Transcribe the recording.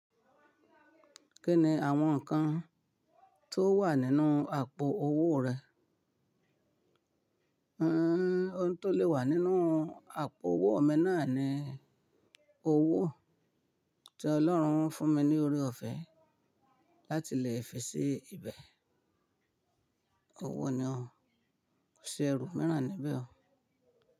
Kí ni àwọn nǹkan tó wà nínú àpò owó rẹ? Ohun tó lè wà nínú àpò owó mi náà ni owó tí Ọlọ́run fún mi ní orí ọ̀fẹ́ láti lè fi sí ibẹ̀. Owó ni o, kò sí ẹrú míràn níbẹ̀ o.